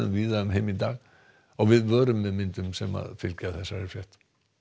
víða um heim í dag við vörum við myndum sem fylgja þessari frétt